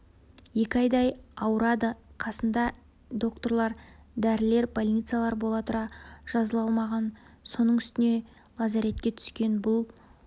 екі айдай ауырады қасында докторлар дәрілер больницалар бола тұра жазыла алмаған соның үстіне лазаретке түскен бұл